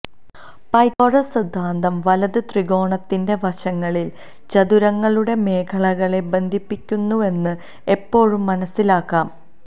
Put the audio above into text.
Pythagoras സിദ്ധാന്തം വലത് ത്രികോണത്തിന്റെ വശങ്ങളിൽ ചതുരങ്ങളുടെ മേഖലകളെ ബന്ധിപ്പിക്കുന്നുവെന്ന് എപ്പോഴും മനസിലാക്കാം